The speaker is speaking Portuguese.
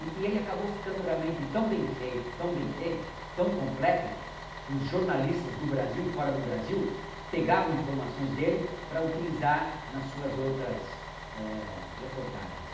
E e ele acabou ficando realmente tão bem feito, tão bem feito, tão completo, que os jornalistas do Brasil e fora do Brasil pegavam informações dele para utilizar nas suas outras é... reportagens.